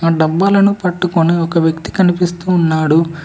డబ్బాలను పట్టుకొని ఒక వ్యక్తి కనిపిస్తూ ఉన్నాడు.